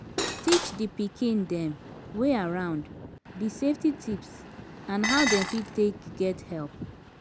teach di pikin dem wey around di safety tips and how dem fit take get help